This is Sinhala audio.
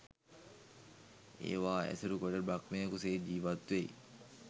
ඒවා ඇසුරු කොට බ්‍රහ්මයකු සේ ජීවත් වෙයි.